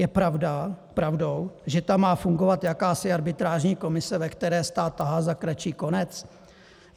Je pravdou, že tam má fungovat jakási arbitrážní komise, ve které stát tahá za kratší konec?